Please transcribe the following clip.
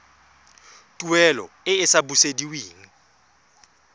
tuelo e e sa busediweng